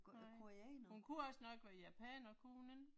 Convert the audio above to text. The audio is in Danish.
Nej, hun kunne også nok være japaner, kunne hun ikke?